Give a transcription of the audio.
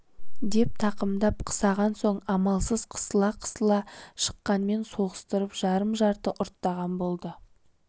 деп тақымдап қысаған соң амалсыз қысыла-қысыла шықаңмен соғыстырып жарым-жарты ұрттаған болды